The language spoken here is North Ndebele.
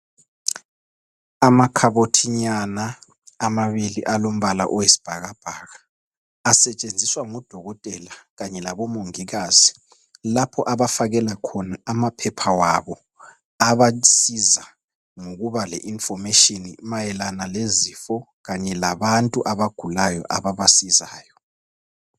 Amakhabothinyana amabili alombala oyisibhakabhaka asetshenziswa ngo dokotela kanye labo mongikazi lapho abafakela khona amaphepha wabo abasiza ngokuba le information mayelana lezifo kanye labantu abagulayo ababasizayo.